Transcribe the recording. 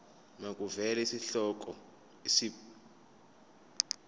makuvele isihloko isib